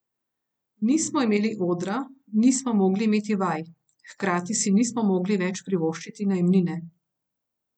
Nismo imeli odra, nismo mogli imeti vaj, hkrati si nismo mogli več privoščiti najemnine.